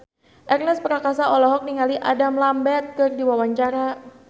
Ernest Prakasa olohok ningali Adam Lambert keur diwawancara